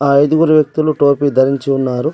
ఐదుగురు వ్యక్తులు టోపీ ధరించి ఉన్నారు.